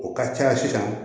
O ka ca sisan